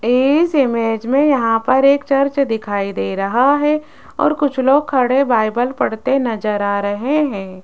इस इमेज में यहां पर एक चर्च दिखाई दे रहा है और कुछ लोग खड़े बाइबल पढ़ते नजर आ रहे हैं।